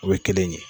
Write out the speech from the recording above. O ye kelen ye